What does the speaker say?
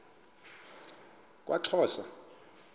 kwaxhosa